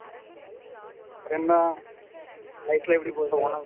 அப்பறம் என்ன life லாம் எப்படி போகுது